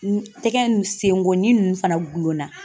N tɛgɛ, n senkoni fana gulonna.